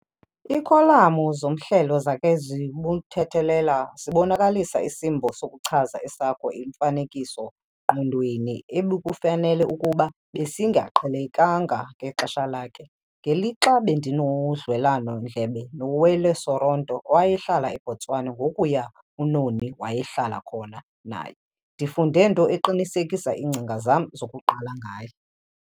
Iikholamu zomhlelo zakhe zibuthethelela zibonakalisa isimbo sokuchaza esakho imfanekiso-ngqonweni ebekufanele ukuba besingaqhelekanga ngexesha lakhe. Ngelixa bendinodliwano-ndlebe noWally Serote owayehlala eBotswana ngokuya uNoni wayehlala khona naye, ndifunde nto eqinisekisa iingcinga zam zokuqala ngaye.